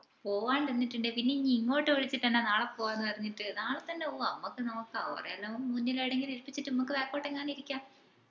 പോവ്വാണ്ട് നിന്നിട്ടുണ്ടേൽ പിന്നെ ഇഞ് ഇങ്ങോട്ട് വിളിച്ചിട്ട് എന്നെ നാളെ പോവ്വാണ് പറഞ്ഞിട്ട് നാളെ തന്നെ പോവ്വാ ഞമ്മക്ക് നോക്കാ ഒരെയെല്ലാം മുന്നിൽ ഏടെയെങ്കിലും ഇരിപ്പിച്ചിട്ട് ഞമ്മക്ക് back ഒട്ടങ്ങാനും ഇരിക്കാ